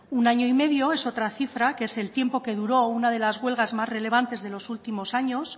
un año y medio es otra cifra que es el tiempo que duró una de las huelgas más relevantes de los últimos años